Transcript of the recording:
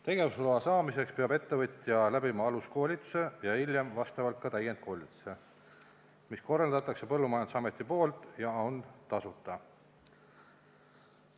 Tegevusloa saamiseks peab ettevõtja läbima aluskoolituse ja hiljem vastavalt ka täiendkoolituse, mille korraldab Põllumajandusamet ja mis on tasuta.